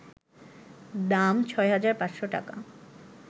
দাম: ৬,৫০০ টাকা